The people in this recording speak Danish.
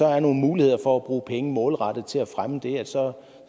er nogle muligheder for at bruge penge målrettet til at fremme det her så